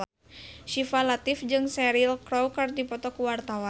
Syifa Latief jeung Cheryl Crow keur dipoto ku wartawan